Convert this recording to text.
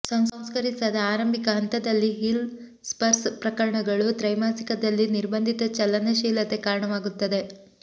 ಸಂಸ್ಕರಿಸದ ಆರಂಭಿಕ ಹಂತದಲ್ಲಿ heel spurs ಪ್ರಕರಣಗಳು ತ್ರೈಮಾಸಿಕದಲ್ಲಿ ನಿರ್ಬಂಧಿತ ಚಲನಶೀಲತೆ ಕಾರಣವಾಗುತ್ತದೆ